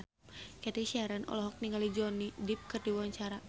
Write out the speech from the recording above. Cathy Sharon olohok ningali Johnny Depp keur diwawancara